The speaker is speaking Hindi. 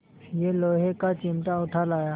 यह लोहे का चिमटा उठा लाया